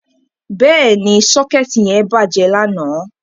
Bẹ́ẹ̀ni, socket yẹn bàjẹ́ lánàá.